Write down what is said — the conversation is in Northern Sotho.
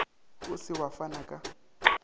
o se wa fana ka